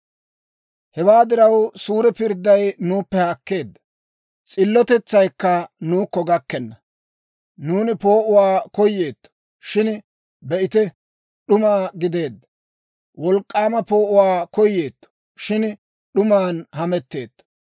Hewaa diraw, suure pirdday nuuppe haakkeedda; s'illotetsaykka nuukko gakkenna. Nuuni poo'uwaa koyeetto; shin be'ite, d'uma gideedda; wolk'k'aama poo'uwaa koyeetto; shin d'uman hametteetto.